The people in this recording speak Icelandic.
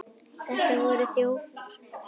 Þetta voru þjófar!